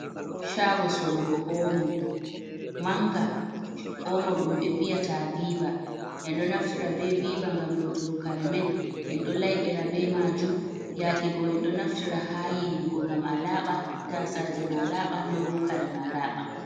Shago sorugo omo manga. Omo ɗum ɓe nbiya ta viva, en ɗo naftira be viva ngam lotugo karemen, en ɗo laiɓira be majum. Yaakego en ɗo naftira ha yiwugo ngam alaaɓa, tasaje ma laaɓa, non bo kare ma alaaɓa.